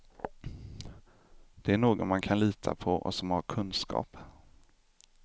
Det är någon man kan lita på och som har kunskap.